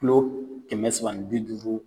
Kilo kɛmɛ saba bi duuru